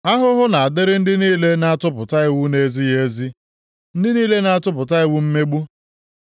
Ahụhụ na-adịrị ndị niile na-atụpụta iwu na-ezighị ezi; ndị niile na-atụpụta iwu mmegbu,